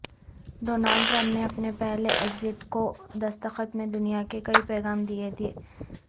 Donald Trump نے اپنے پہلے ایگزیکٹو دستخط میں دنیا کو کئی پیغام دے دیے